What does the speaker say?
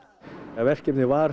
verkefnið var